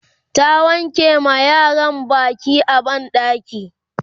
ta wanke ma yaran Baki a banɗaki